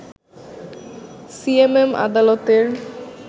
CMM আদালতের